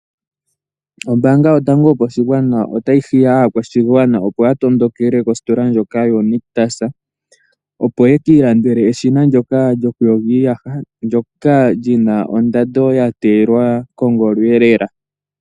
Oombanga yotango yopashigwana otayi hiya aakwashigwana opo yatondokele kositola ndjoka yoNictus opo yekiilandele eshina ndoka lyokuyoga iiyaha ndyoka lyina ondando yateyelwa kongolo.